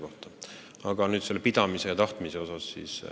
Aga veel kord sellest pidamisest ja tahtmisest.